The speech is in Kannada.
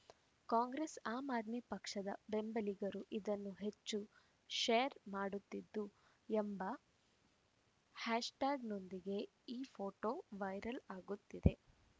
ಕಾಂಗ್ರೆಸ್‌ ಆಮ್‌ ಆದ್ಮಿ ಪಕ್ಷದ ಬೆಂಬಲಿಗರು ಇದನ್ನು ಹೆಚ್ಚು ಶೇರ್‌ ಮಾಡುತ್ತಿದ್ದು ಎಂಬ ಹ್ಯಾಶ್‌ಟ್ಯಾಗ್‌ನೊಂದಿಗೆ ಈ ಫೋಟೋ ವೈರಲ್‌ ಆಗುತ್ತಿದೆ